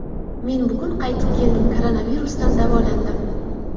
Men bugun qaytib keldim, koronavirusdan davolandim.